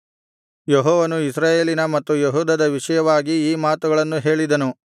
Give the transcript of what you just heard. ಯೆಹೋವನು ಇಸ್ರಾಯೇಲಿನ ಮತ್ತು ಯೆಹೂದದ ವಿಷಯವಾಗಿ ಈ ಮಾತುಗಳನ್ನು ಹೇಳಿದನು